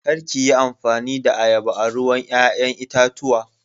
Kar ki yi amfani da ayaba a ruwan ƴa'ƴan itatuwa.